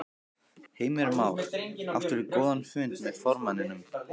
Heimir Már: Áttirðu góðan fund með formanninum?